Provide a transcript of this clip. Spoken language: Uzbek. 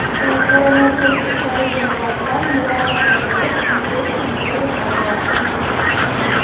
U koronavirusga chalinganlar bilan muloqotda bo‘lib, infeksiya yuqtirib olgan.